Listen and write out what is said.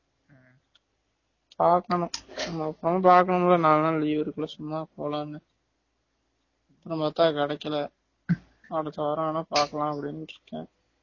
பாக்கனும் நான் படம் பாக்கலாம்னு நாலு நாள் leave இருக்குல சும்மா போலாம் னு அப்பறம் பாத்தா கிடைகல அடுத்த வாரம் வேணா பாக்கலாம் அப்படினு இருக்கேன்